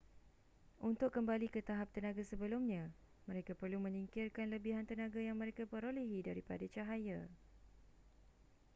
untuk kembali ke tahap tenaga sebelumnya mereka perlu menyingkirkan lebihan tenaga yang mereka perolehi daripada cahaya